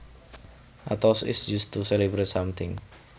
A toast is used to celebrate something